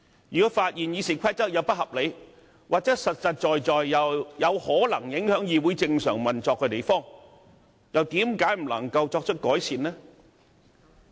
如果發現《議事規則》有不合理之處，又或有實在可能影響議會正常運作的地方，為何不能對之作出改善？